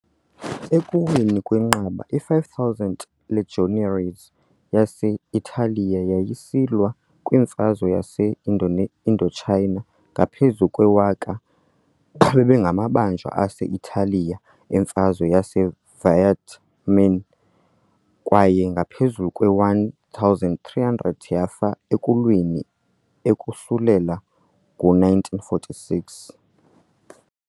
Ekuweni kwenqaba i-5,000 legionaries yase-Italiya yayisilwa kwiMfazwe yase-Indochina, ngaphezu kwewaka babengamabanjwa ase-Italiya emfazwe yase- Viet Minh kwaye ngaphezu kwe-1,300 yafa ekulweni ukususela ngo -1946 .